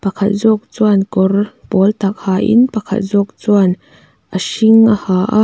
pakhat zawk chuan kawr pawltak hain pakhat zawk chuan a hring a ha a.